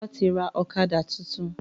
Bàbá wá ti rà ọ̀kadà tuntun